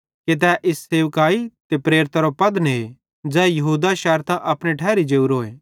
कि तै इस सेवकाई ते प्रेरिताइयोरो पद ने ज़ै यहूदा शैरतां अपने ठैरी जेवरोए